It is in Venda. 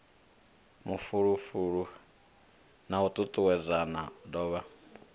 mafulufulo na u tutuwedzana duvha